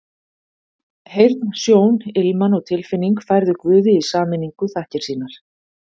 Heyrn, sjón, ilman og tilfinning færðu Guði í sameiningu þakkir sínar.